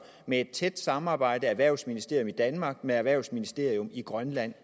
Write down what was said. med et tæt samarbejde mellem erhvervsministerium i danmark og erhvervsministerium i grønland